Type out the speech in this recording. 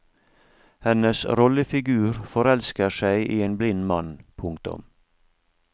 Hennes rollefigur forelsker seg i en blind mann. punktum